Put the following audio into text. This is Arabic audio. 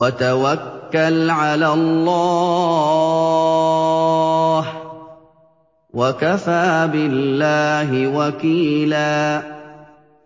وَتَوَكَّلْ عَلَى اللَّهِ ۚ وَكَفَىٰ بِاللَّهِ وَكِيلًا